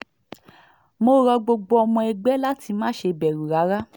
mo rọ gbogbo ọmọ ẹgbẹ́ láti má ṣe bẹ̀rù rárá